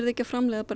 ekki að framleiða